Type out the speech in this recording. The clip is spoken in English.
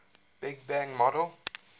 big bang model